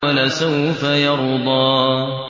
وَلَسَوْفَ يَرْضَىٰ